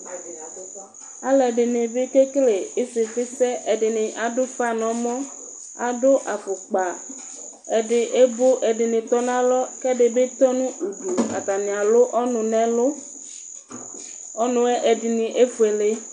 Al'ɛdini bi kekele ɩsifi sɛ, ɛdini adu'fa n'ɔmɔ, adu afukpa ɛdi evo ɛdini tɔ n'alɔ k'ɛdini bi tɔ nu udu atani alu ɔnu n'ɛlu, ɔnu'ɛ ɛdini efuele